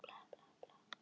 Reyna eitthvað nýtt.